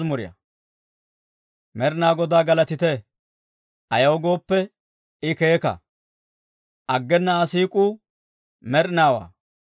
Med'inaa Godaa galatite! Ayaw gooppe, I keeka; aggena Aa siik'uu med'inaawaa.